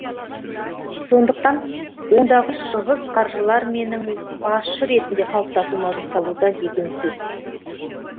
сондықтан ондағы шығыс қаржылар менің басшы ретінде қалыптасуыма жұмсалуда деген сөз